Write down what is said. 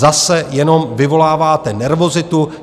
Zase jenom vyvoláváte nervozitu.